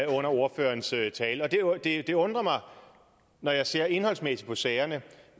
under ordførerens tale og det undrer mig når jeg ser indholdsmæssigt på sagerne